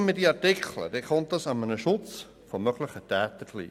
Streichen wir die Artikel, kommt dies dem Schutz möglicher Täter gleich.